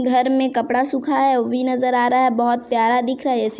घर में कपड़ा सूखा है वो भी नज़र आ रहा है बहुत प्यारा दिखरा है।